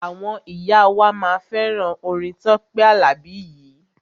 Àwọn ìyá wa máa fẹ́ràn orin Tọ́pẹ́ Àlàbí yìí.